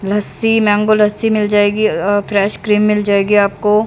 लस्सी mango lassi मिल जाएगी uh fresh cream मिल जाएगी आपको--